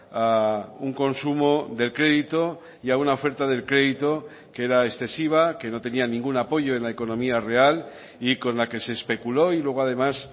a un consumo del crédito y a una oferta del crédito que era excesiva que no tenía ningún apoyo en la economía real y con la que se especuló y luego además